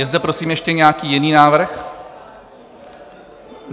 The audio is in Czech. Je zde prosím ještě nějaký jiný návrh?